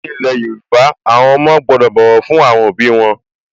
Ní ilẹ̀ Yorùbá, àwọn ọmọ gbọ́dọ̀ bọ̀wọ̀ fún àwọn òbí wọn